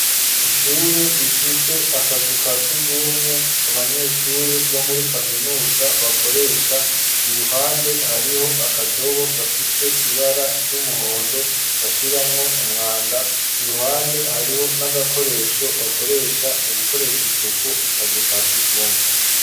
Ishure rifise akazu ka sugumwe abanyeshuri bo muri kaminuza bakoresha iruhande hariho akadobo gafise ibara ry'umuhondo bashiramwo umwanda iruhande hariho n'agakoresho bakoresha mu gukoresha isuku akazu ka sugumwe.